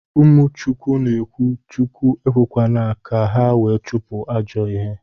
Umu chukwu na ekwu Chukwu ekwekwana ka ha wee chupu ajo ihe